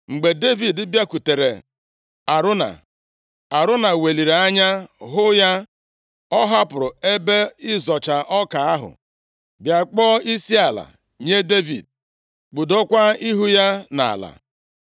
Mgbe Devid bịakwutere Arauna, Arauna weliri anya hụ ya, ọ hapụrụ ebe ịzọcha ọka ahụ, bịa kpọọ isiala nye Devid, kpudokwa ihu ya nʼala.